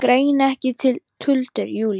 Greini ekki tuldur Júlíu.